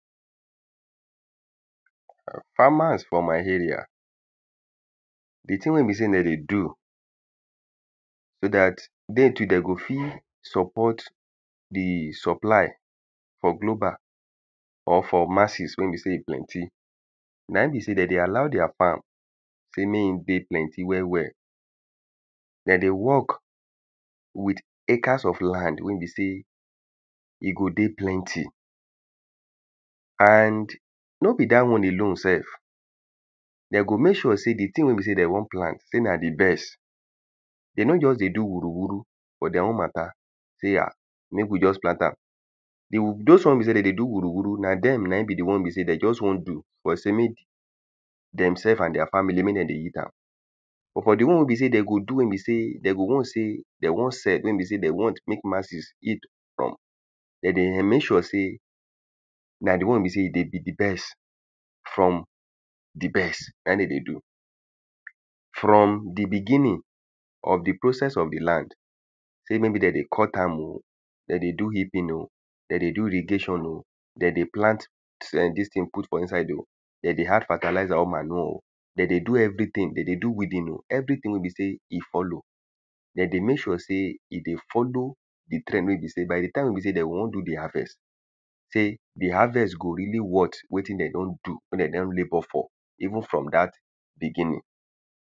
[um]farmers for my area the thing wey be sey dem dey do so dat they too they go fit support the supply for global or for masses wey be sey e plenty. Na im be sey dem dey allow their farm sey mey e dey plenty well well. De dey work with hecter of land wey be sey e go dey plenty. And no be dat one alone self de go make sure sey the thing wey de want plant sey na the best. They no just dey do wuru wuru for their own matter. Say ah make we just plant am. Do dose one wey be sey dem dey do wuru wuru, na dem na im be the one wey be sey de just one do. De go sey make demself and their family make dem dey eat am. But for the one wey be sey dem go do wey be sey dem go know sey dem wan sell wey be sey de want make masses eat from, dem dey ern make sure sey na the one wey be sey e dey be the best from the best. Na im de dey do. From the beginning of the process of the land sey maybe dem dey cut am oh, dem dey do hipping oh, dem dey do irrigation oh. De dey plant um dis thing put for inside oh. De dey add fertalizer or manure. De dey do everything, de dey do weeding oh. Everything wey be sey e follow. De dey make sure sey e dey follow the trend wey be sey by the time wey be sey dem o wan do the harvest sey, the harvest go really worth wetin dem don do. Wetin dem don labour for. Even from dat beginning.